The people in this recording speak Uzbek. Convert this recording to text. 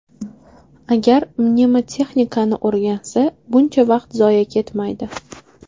Agar mnemotexnikani o‘rgansa, buncha vaqt zoye ketmaydi.